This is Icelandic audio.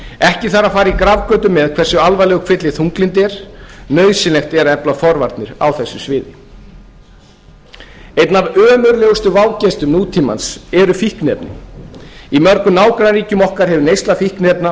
ekki þarf að fara í grafgötur með hversu alvarlegur kvilli þunglyndi er nauðsynlegt er að efla forvarnir á þessu sviði einn af ömurlegustu vágestum nútímans eru fíkniefnin í mörgum nágrannaríkjum okkar hefur neysla fíkniefna farið